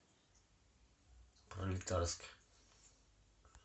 пролетарск